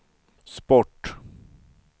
sport